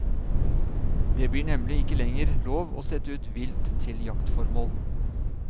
Det blir nemlig ikke lenger lov å sette ut vilt til jaktformål.